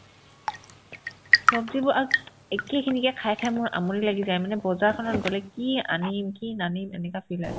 ছব্জিবোৰ আত একেই খিনিকে খাই খাই মোৰ আমনি লাগি যায় মানে বজাৰখনত গ'লে কি আনিম কি নানিম এনেকুৱা feel আহে